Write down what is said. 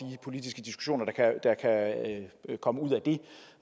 politiske diskussioner der kan komme ud af det